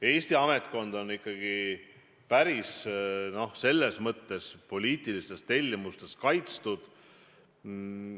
Eesti ametnikkond on ikkagi päris hästi poliitiliste tellimuste eest kaitstud.